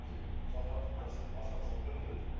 бізге жалтыратып жақсы етіп асфальт салып беріңдер деп